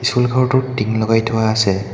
School ঘৰটোত টিং লগাই থোৱা আছে।